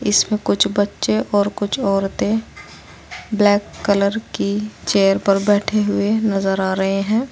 इसमें कुछ बच्चे और कुछ औरतें ब्लैक कलर की चेयर पर बैठे हुए नजर आ रहे हैं।